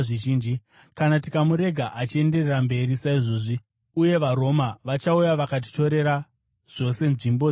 Kana tikamurega achienderera mberi saizvozvi, munhu wose achatenda kwaari, uye vaRoma vachauya vakatitorera zvose nzvimbo yedu nenyika yedu.”